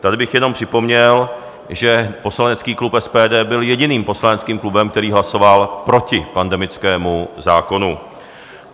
Tady bych jenom připomněl, že poslanecký klub SPD byl jediným poslaneckým klubem, který hlasoval proti pandemickému zákonu.